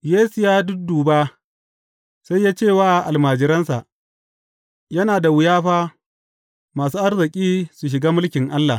Yesu ya dudduba, sai ya ce wa almajiransa, Yana da wuya fa masu arziki su shiga mulkin Allah!